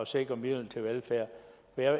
sikre midlerne til velfærd